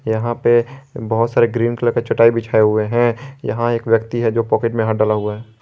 यहां पे बहुत सारे ग्रीन कलर का चटाई बिछाए हुए हैं यहां एक व्यक्ति है जो पॉकेट में हाथ डाला हुआ है।